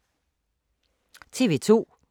TV 2